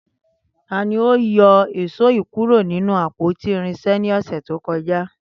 Tani o yọ ìyíṣòó kuro ninu apoti irinṣẹ ni ọsẹ to kọja.